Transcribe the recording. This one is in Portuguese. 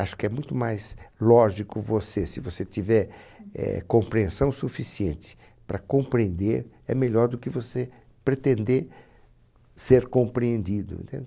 Acho que é muito mais lógico você, se você tiver, eh, compreensão suficiente para compreender, é melhor do que você pretender ser compreendido, entende?